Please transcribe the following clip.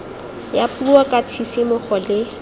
ya puo ka tshisimogo le